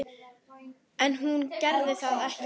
En hún gerði það ekki.